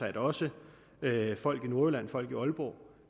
at også folk i nordjylland folk i aalborg